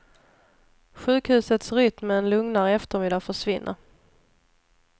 Sjukhusets rytm med en lugnare eftermiddag försvinner.